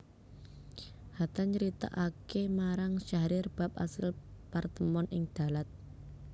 Hatta nyritakaké marang Syahrir bab asil partemon ing Dalat